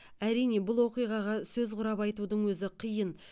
әрине бұл оқиғаға сөз құрап айтудың өзі қиын